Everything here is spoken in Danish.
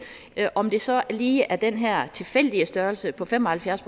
det om det så lige er den her tilfældige størrelse på fem og halvfjerds